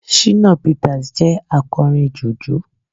shina peters jẹ akorín jùjú